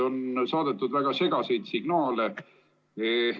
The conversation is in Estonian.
On saadetud väga segaseid signaale.